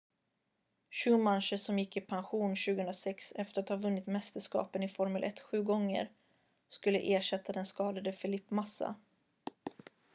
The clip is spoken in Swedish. schumacher som gick i pension 2006 efter att han vunnit mästerskapen i formel 1 sju gånger skulle ersätta den skadade felipe massa